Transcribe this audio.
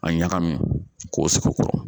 A ɲagami k'o sigi kɔrɔ